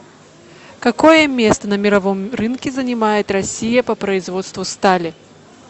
какое место на мировом рынке занимает россия по производству стали